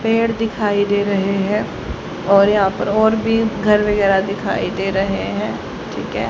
पेड़ दिखाई दे रहे हैं और यहां पर और भी घर वगैरा दिखाई दे रहे हैं ठीक है।